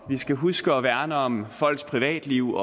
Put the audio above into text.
vi skal huske at værne om folks privatliv